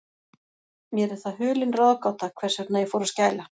Mér er það hulin ráðgáta, hvers vegna ég fór að skæla.